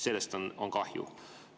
Sellest on kahju.